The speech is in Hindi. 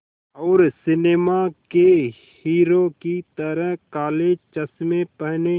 और सिनेमा के हीरो की तरह काले चश्मे पहने